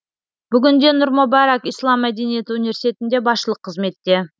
бүгінде нұр мүбәрак ислам мәдениеті университетінде басшылық қызметте